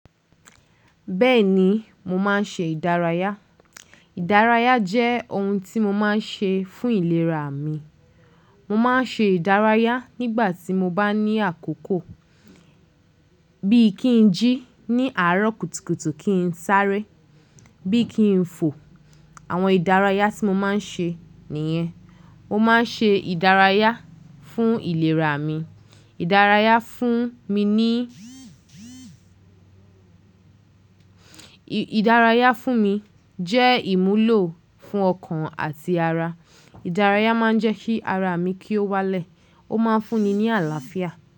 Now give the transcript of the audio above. Bẹ́ẹ̀ni, mo máa ń ṣe ìdárayá. Ìdárayá jẹ́ ohun tí mo máa ń ṣe fún ìlera mi. Mo máa ń ṣe ìdárayá nígbà tí mo bá ní àkókò. Bí i kí n jí ní àárọ̀ kùtùkùtù kí n sáré, bí i kí n fò. Àwọn ìdárayá tí mo máa ń ṣe nìyẹn. Mo máa ń ṣe ìdárayá fún ìlera mi. Ìdárayá fún mi ní. Ìdárayá fún mi jẹ́ ìmúlò fún ọkàn àti ara. Ìdárayá máa ń jẹ́ kí ara mi kí ó wálẹ̀. Ó máa ń fún ni ní àlàáfíà.